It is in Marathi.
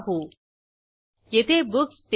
आणखी एक checkoutरिटर्न साठी येथे क्लिक करा